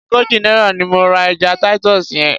Ogójì náírà ni mo ra ẹja Titus yẹn.